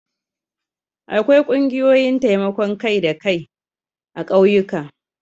Akwai ƙungiyoyin taimakon kai-da-kai a ƙauyuka.